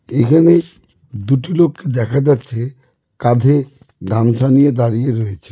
এখানে দুটি লোক দেখা যাচ্ছে কাঁধে গামছা নিয়ে দাঁড়িয়ে রয়েছে।